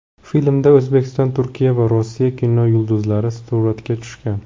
Filmda O‘zbekiston, Turkiya va Rossiya kinosi yulduzlari suratga tushgan.